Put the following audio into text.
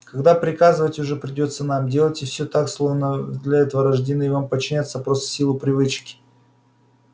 когда приказывать уже придётся нам делайте все так словно вы для этого были рождены и вам подчиняются просто в силу привычки